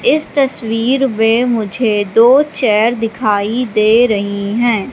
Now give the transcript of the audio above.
इस तस्वीर में मुझे दो चेयर दिखाई दे रही है।